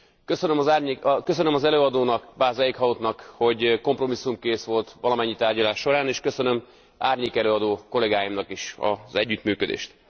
Köszönöm az előadónak, Bas Eichourtnak, hogy kompromisszumkész volt valamennyi tárgyalás során, és köszönöm árnyékelőadó kollégáimnak is az együttműködést.